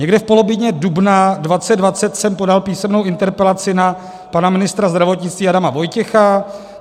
Někdy v polovině dubna 2020 jsem podal písemnou interpelaci na pana ministra zdravotnictví Adama Vojtěcha.